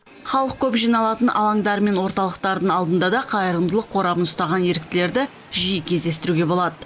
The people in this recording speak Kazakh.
халық көп жиналатын алаңдар мен орталықтардың алдында да қайырымдылық қорабын ұстаған еріктілерді жиі кездестіруге болады